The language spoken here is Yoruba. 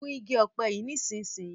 Gún ìgi òpe yí nísìsiyìí!